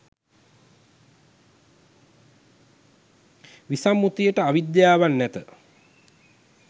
විසම්මුතිට අවිද්‍යාවක් නැත.